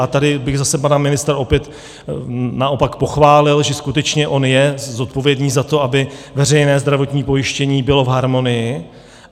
A tady bych zase pana ministra opět naopak pochválil, že skutečně on je zodpovědný za to, aby veřejné zdravotní pojištění bylo v harmonii.